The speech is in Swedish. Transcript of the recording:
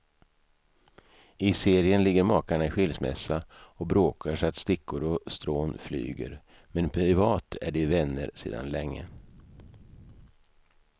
I serien ligger makarna i skilsmässa och bråkar så att stickor och strån flyger, men privat är de vänner sedan länge.